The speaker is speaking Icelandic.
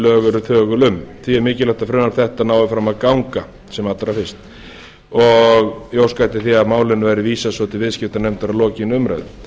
eru þögul um því er mikilvægt að frumvarp þetta nái fram að ganga sem allra fyrst ég óska eftir því að málinu verði vísað svo til viðskiptanefndar að lokinni umræðu